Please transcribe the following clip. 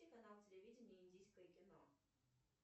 канал телевидения индийское кино